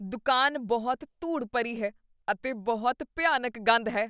ਦੁਕਾਨ ਬਹੁਤ ਧੂੜ ਭਰੀ ਹੈ ਅਤੇ ਬਹੁਤ ਭਿਆਨਕ ਗੰਧ ਹੈ।